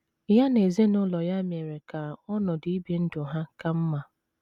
Ya na ezinụlọ ya mere ka ọnọdụ ibi ndụ ha ka mma.